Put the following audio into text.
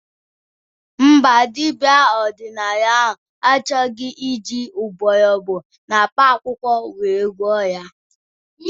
Mba, dibia ọdịnala ahụ achọghọ iji mgbọrọgwụ na mkpa akwụkwọ were gwọọ ya